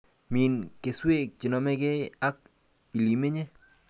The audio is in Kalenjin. Min keswek chenomekei ak ilemenye